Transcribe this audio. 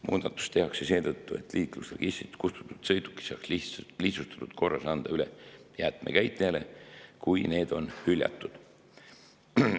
Muudatus tehakse seetõttu, et liiklusregistrist kustutatud sõidukid saaks lihtsustatud korras anda üle jäätmekäitlejale, kui need on hüljatud.